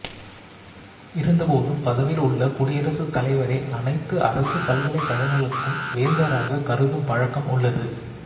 இருந்தபோதும் பதவியில் உள்ள குடியரசுத் தலைவரை அனைத்து அரசுப் பல்கலைக்கழகங்களுக்கும் வேந்தராகக் கருதும் பழக்கம் உள்ளது